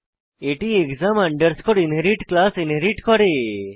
এটি exam underscore inherit class inherit করে